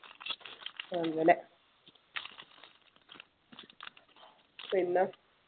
അങ്ങനെ പിന്നെ